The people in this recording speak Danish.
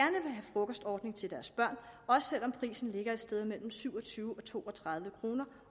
frokostordning til deres børn også selv om prisen ligger et sted mellem syv og tyve og to og tredive kroner